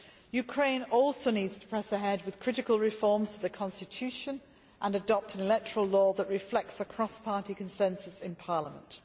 Ukraine also needs to press ahead with critical reforms to the constitution and adopt an electoral law which reflects a cross party consensus in parliament.